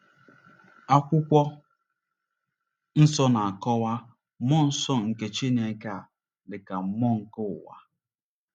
Akwụkwọ Nsọ na-akọwa mmụọ nsọ nke Chineke a dị ka “mmụọ nke ụwa.”